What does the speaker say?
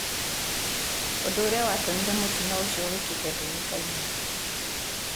Ũndũ ũrĩa watũmire mũtino ũcio wĩkĩke ndũĩkaine.